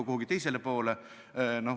– kuhugi teisele poole, küll ei ole.